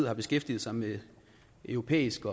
har beskæftiget sig med europæisk